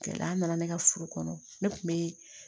Gɛlɛya nana ne ka furu kɔnɔ ne kun be